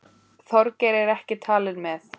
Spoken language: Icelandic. Þorgeir er ekki talinn með.